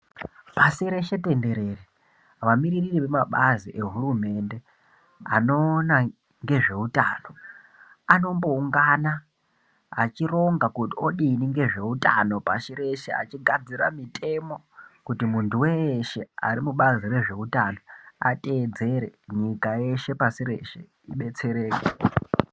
Pasi peshe tenderere vamiriri vemabazi ehurumende anoona ngezveutano anomboungana achironga kuti odini ngezveutano pashi reshe achigadzira mitemo kuti munthu weeshe arikubazi rezveutano ateedzere nyika yeshe pashi reshe idetsereke .